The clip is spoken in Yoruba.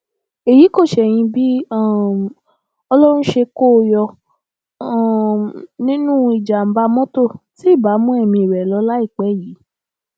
èyí kò ṣẹyìn bí um ọlọrun ṣe kó o yọ um nínú ìjàmbá mọtò tí ibà mú ẹmí rẹ lọ láìpẹ yìí